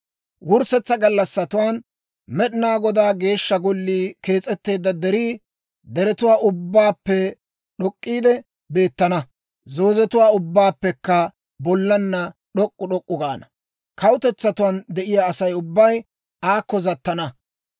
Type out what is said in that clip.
Wurssetsa gallassatuwaan Med'inaa Godaa Geeshsha Gollii kees'etteedda derii deretuwaa ubbaappe d'ok'k'iide beettana; zoozetuwaa ubbatuwaappekka bollaanna d'ok'k'u d'ok'k'u gaana. Kawutetsatuwaan de'iyaa Asay ubbay aakko zattana.